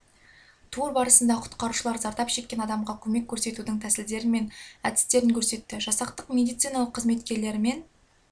тур барысында құтқарушылар зардап шеккен адамға көмек көрсетудің тәсілдері мен әдістерін көрсетті жасақтың медициналық қызметкерлерімен